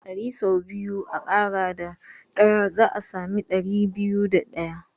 Ɗari sau biyu a ƙara da ɗaya za a sami ɗari biyu da ɗaya.